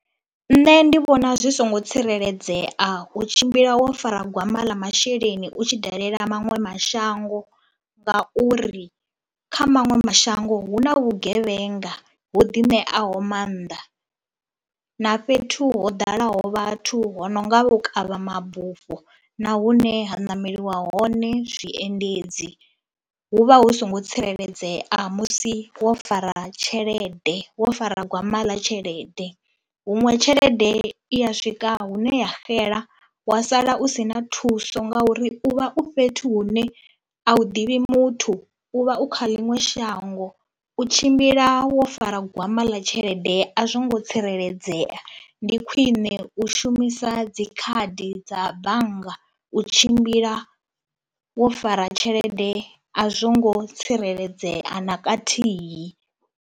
Nṋe ndi vhona zwi songo tsireledzea u tshimbila wo fara gwama ḽa masheleni u tshi dalela maṅwe mashango ngauri kha maṅwe mashango hu na vhugevhenga ho ḓi ṋeaho maanḓa na fhethu ho ḓalaho vhathu ho no nga vhukavha mabufho na hune ha ṋameliwa hone zwiendedzi. Hu vha hu songo tsireledzea musi wo fara tshelede, wo fara gwama ḽa tshelede, huṅwe tshelede i ya swika hune ya xela wa sala u si na thuso ngauri u vha u fhethu hune a u ḓivhi muthu. U vha u kha ḽiṅwe shango, u tshimbila wo fara gwama ḽa tshelede a zwo ngo tsireledzea. Ndi khwine u shumisa dzi khadi dza bannga u tshimbila wo fara tshelede a zwo ngo tsireledzea na khathihi.